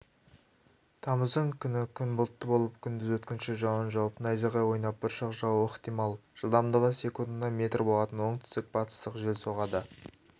тамыздың күні күн бұлтты болып күндіз өткінші жауын жауып найзағай ойнап бұршақ жаууы ықтимал жылдамдығы секундына метр болатын оңтүстік-батыстық жел соғады